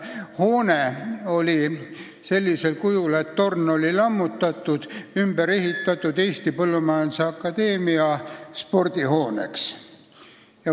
Kiriku torn oli lammutatud ja sellisel kujul oli see ümber ehitatud Eesti Põllumajanduse Akadeemia spordihooneks.